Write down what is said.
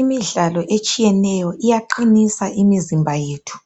Imidlalo etshiyeneyo iyaqinisa imizimba yethu.